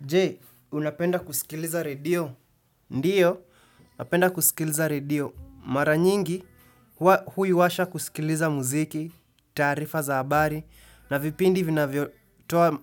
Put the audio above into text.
Je, unapenda kusikiliza redio? Ndiyo, unapenda kusikiliza radio. Mara nyingi, huwa huiwasha kusikiliza muziki, taarifa za habari, na vipindi vinavyotoa